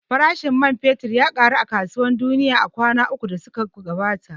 Farashin man fetur ya ƙaru a kasuwar duniya a kwana ukun da suka gabata